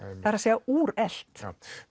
það er að segja úrelt